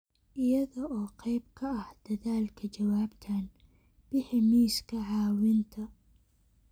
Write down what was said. Iyada oo qayb ka ah dadaalka jawaabtan, bixi miiska caawinta.